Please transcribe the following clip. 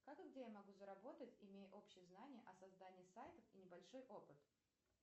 как и где я могу заработать имея общие знания о создании сайтов и небольшой опыт